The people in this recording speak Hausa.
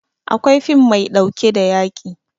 Akwai fim maiɗauke da yaƙi